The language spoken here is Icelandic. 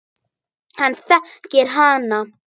Hann þekkir hana.